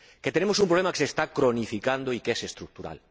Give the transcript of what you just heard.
Tenemos un problema que se está cronificando y que es estructural.